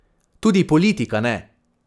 Tudi politika ne!